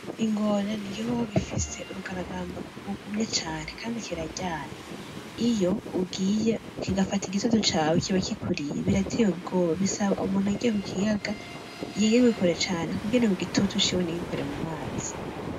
Ingona n'igikoko gifise urugaragamba rugumye cane, Kandi kiraryana ,iyo ugiye kigafata igitutu cawe kiba kikuriye birateye ubwoba bisaba umuntu agiye kukiyaga yegerwe kure cane kugira igitutu ciwe nigikore kumazi.